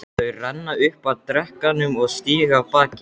Þau renna upp að drekanum og stíga af baki.